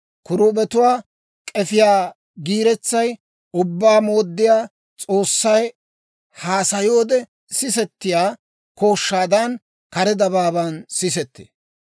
Kiruubetuwaa k'efiyaa giiretsay Ubbaa Mooddiyaa S'oossay haasayoode sisetiyaa kooshshaadan, kare dabaaban sisettee.